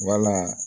Wala